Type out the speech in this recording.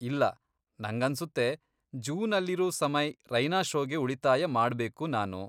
ಇಲ್ಲ, ನಂಗನ್ಸುತ್ತೆ ಜೂನಲ್ಲಿರೂ ಸಮಯ್ ರೈನಾ ಷೋಗೆ ಉಳಿತಾಯ ಮಾಡ್ಬೇಕು ನಾನು.